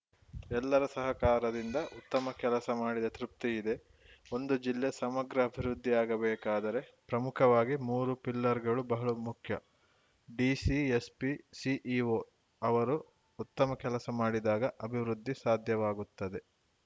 ಎಲ್ಲರ ಸಹಕಾರದಿಂದ ಉತ್ತಮ ಕೆಲಸ ಮಾಡಿದ ತೃಪ್ತಿ ಇದೆ ಒಂದು ಜಿಲ್ಲೆ ಸಮಗ್ರ ಅಭಿವೃದ್ಧಿಯಾಗಬೇಕಾದರೆ ಪ್ರಮುಖವಾಗಿ ಮೂರು ಪಿಲ್ಲರ್‌ಗಳು ಬಹಳ ಮುಖ್ಯ ಡಿಸಿ ಎಸ್‌ಪಿ ಸಿಇಒ ಅವರು ಉತ್ತಮ ಕೆಲಸ ಮಾಡಿದಾಗ ಅಭಿವೃದ್ಧಿ ಸಾಧ್ಯವಾಗುತ್ತದೆ